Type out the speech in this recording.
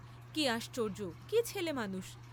কি আশ্চর্য্য, কি ছেলেমানুষ!